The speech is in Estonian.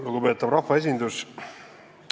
Lugupeetav rahvaesindus!